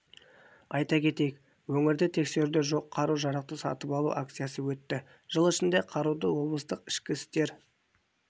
айта кетейік өңірде тіркеуде жоқ қару-жарақты сатып алу акциясы өтті жыл ішінде қаруды облыстық ішкі істер